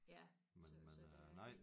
Ja så så der er én